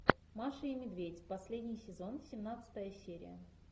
маша и медведь последний сезон семнадцатая серия